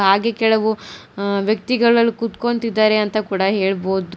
ಹಾಗೆ ಕೆಳಗೂ ಆ ವ್ಯಕ್ತಿಗಳು ಅಲ್ ಕೂತ್ಕೋಂತಿದ್ದಾರೆ ಅಂತ ಕೂಡ ಹೇಳ್ಬಹುದ್--